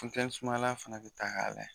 sumayala fana bɛ ta k'a lajɛ.